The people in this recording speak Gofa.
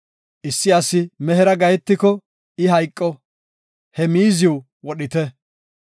“Issi asi mehera gahetiko, I hayqo; he miiziw wodhite.